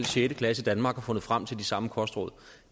sjette klasse i danmark og fundet frem til de samme kostråd